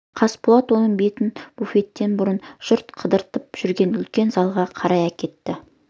қасболат оның бетін буфеттен бұрып жұрт қыдырып жүрген үлкен залға қарай әкетті